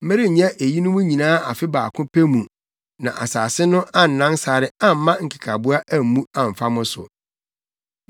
Merenyɛ eyinom nyinaa afe baako pɛ mu na asase no annan sare amma nkekaboa ammu amfa mo so.